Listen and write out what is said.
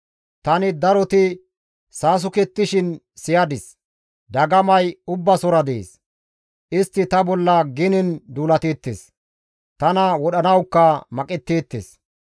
Tani daroti saasukettishin siyadis; dagamay Ubbasora dees; istti ta bolla genen duulateettes; tana wodhanawukka maqetteettes.